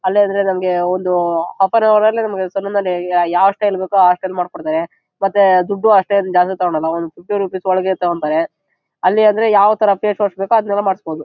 ಅಲ್ಲಾದ್ರೆ ನಮಗೆ ಒಂದು ಆಫರ್ ನಮಗೆ ಸಲೂನ್ ನಲ್ಲಿ ಯಾವ ಸ್ಟೈಲ್ ಬೇಕು ಆ ಸ್ಟೈಲ್ ಮಾಡಕೊಡತಾರೆ ಮತ್ತೆ ದುಡ್ಡು ಅಷ್ಟೇನು ಜಾಗ ತಕೋಣನೂ ಫಿಫ್ಟಿ ರುಪೀಸ್ ಒಳಗೆ ತೋಕೋತರೆ. ಅಲ್ಲಿ ಅಂದ್ರೆ ಯಾವತರ ಫೇಸ್ ವಾಶ್ ಬೇಕೋ ಅದನ್ನೆಲ್ಲಾ ಮಾಡಸಬಹುದು.